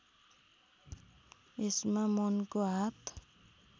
यसमा मनको हात